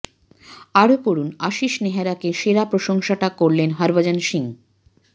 আরও পড়ুন আশিস নেহেরাকে সেরা প্রশংসাটা করলেন হরভজন সিং